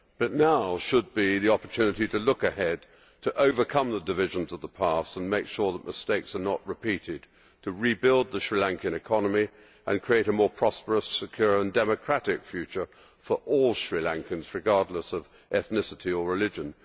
But now should be the opportunity to look ahead, to overcome the divisions of the past and make sure that mistakes are not repeated, to rebuild the Sri Lankan economy and create a more prosperous, secure and democratic future for all Sri Lankans, regardless of ethnicity or religion.